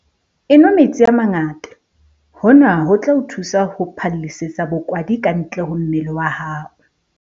Enwa metsi a mangata - hona ho tla o thusa ho phallisetsa bokwadi kantle ho mmele wa hao.